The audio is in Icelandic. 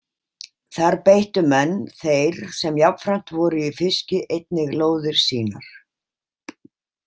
Þar beittu menn þeir sem jafnframt voru í fiski einnig lóðir sínar.